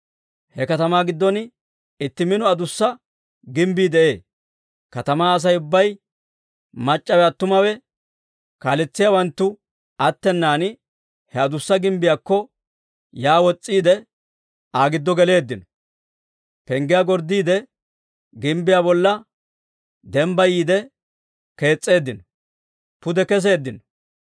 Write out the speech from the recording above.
He katamaa giddon itti mino adussa gimbbii de'ee. Katamaa Asay ubbay, mac'c'awe attumawe, kaaletsiyaawanttu attenan he adussa gimbbiyaakko yaa wos's'iide, Aa giddo geleeddino; penggiyaa gorddiide, gimbbiyaa bolla dembbayiide kees's'eeddino pude keseeddino.